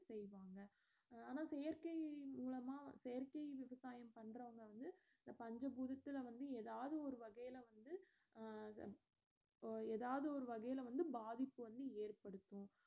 செய்வாங்க ஆனா செயற்கை மூலமா செயற்கை விவசாயம் பண்றவங்க வந்து பஞ்ச பூதத்துல வந்து எதாவது ஒரு வகைல வந்து அஹ் எதாவது வகைல வந்து பாதிப்பு வந்து ஏற்படுத்தும்